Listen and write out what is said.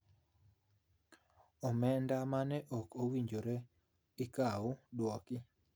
Omenda mane ok owinjore ikaw dwoki,